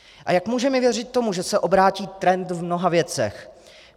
A jak můžeme věřit tomu, že se obrátí trend v mnoha věcech?